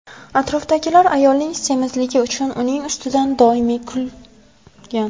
Atrofdagilar ayolning semizligi uchun uning ustidan doimiy kulgan.